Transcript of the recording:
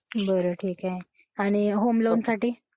बरं ठीक आहे. आणि होम लोन साठी?